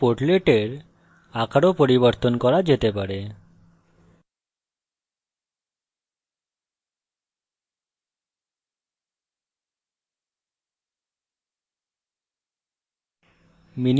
প্রতিটি portlet এর আকার ও পরিবর্তন করা যেতে পারে